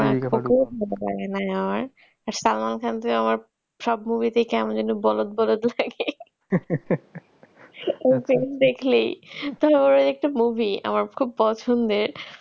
সালমান খানকে আমার সব movie তেই কেমন যেন বলদ বলদ লাগে ওর film দেখলেই তাও ওর একটা movie আমার খুব পছন্দের